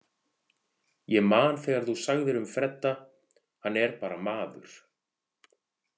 Ég man þegar þú sagðir um Fredda: hann er bara maður.